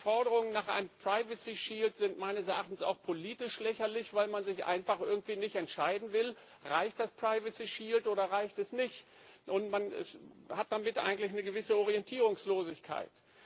Die Forderung nach einem Datenschutzschild sind meines Erachtens auch politisch lächerlich, weil man sich einfach nicht entscheiden will, reicht Datenschutzschild oder reicht er nicht, und man hat dann damit eigentlich eine gewisse Orientierungslosigkeit.